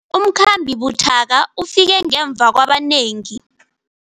Umkhambi buthaka ufike ngemva kwabanengi.